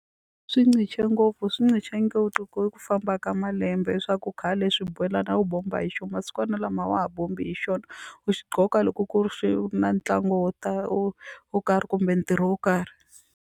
Swi nga ngopfu swi ku famba ka malembe swaku khale xibelani a wu bomba hi xona masikwanalama a wa ha bomba hi xona u gqoka loko ku ri xi na ntlangu wo ta wo wo karhi kumbe ntirho wo karhi.